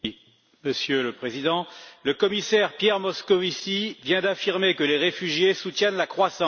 Monsieur le Président, le commissaire Pierre Moscovici vient d'affirmer que les réfugiés soutiennent la croissance.